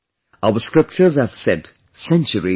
Our scriptures have said centuries ago